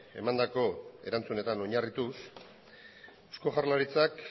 emandako erantzunetan oinarrituz eusko jaurlaritzak